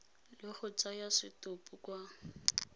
le go tsaya setopo kwa